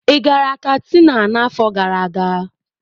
Ị gara Katsina n'afọ gara aga?